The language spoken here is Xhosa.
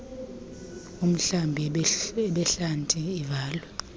umhlambi ebuhlanti ivale